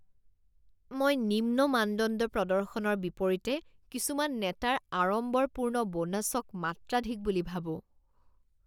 মই নিম্ন মানদণ্ড প্ৰদৰ্শনৰ বিপৰীতে কিছুমান নেতাৰ আড়ম্বৰপূৰ্ণ বোনাছক মাত্ৰাধিক বুলি ভাবো।